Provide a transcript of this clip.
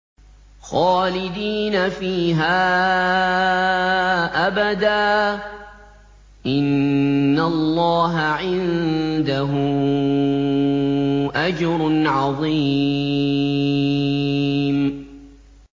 خَالِدِينَ فِيهَا أَبَدًا ۚ إِنَّ اللَّهَ عِندَهُ أَجْرٌ عَظِيمٌ